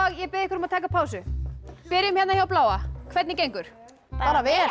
ég bið ykkur um að taka pásu byrjum hérna hjá bláa hvernig gengur bara vel